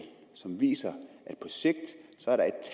som viser